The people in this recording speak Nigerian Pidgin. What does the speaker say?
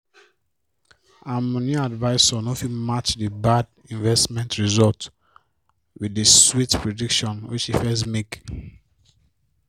her moni advisor no fit match the bad investment result with the sweet prediction wey she first make